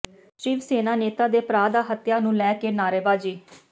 ਸ਼ਿਵ ਸੈਨਾ ਨੇਤਾ ਦੇ ਭਰਾ ਦਾ ਹੱਤਿਆ ਨੂੰ ਲੈ ਕੇ ਨਾਅਰੇਬਾਜ਼ੀ